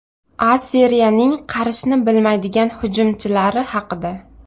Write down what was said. A Seriyaning qarishni bilmaydigan hujumchilari haqida.